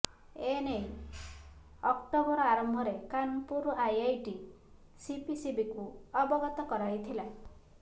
ଏ ନେଇ ଅକ୍ଚୋବର ଆରମ୍ଭରେ କାନପୁର ଆଇଆଇଟି ସିପିସିବିକୁ ଅବଗତ କରାଇଥିଲା